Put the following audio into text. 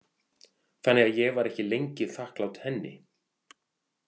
Þannig að ég var ekki lengi þakklát henni.